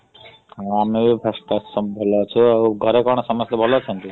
ହଁ ଆମେ ବି ସବୁ ଭଲ ଅଛୁ ଆଉ। ଘରେ କଣ ସମସ୍ତେ ଭଲ ଅଛନ୍ତି?